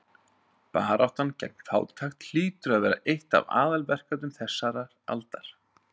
Baráttan gegn fátækt hlýtur að vera eitt af aðalverkefnum þessarar aldar.